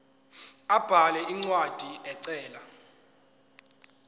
abhale incwadi ecela